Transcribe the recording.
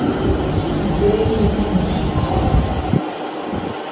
Bylur undan Bolafjalli